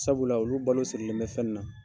Sabula olu balo sirilen bɛ fɛn na.